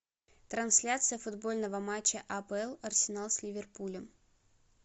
трансляция футбольного матча апл арсенал с ливерпулем